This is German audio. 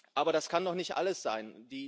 Aber das kann doch nicht alles sein!